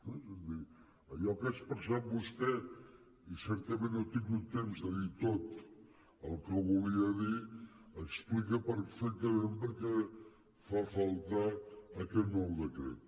és a dir allò que ha expressat vostè i certament no ha tingut temps de dir tot el que volia dir explica perfectament per què fa falta aquest nou decret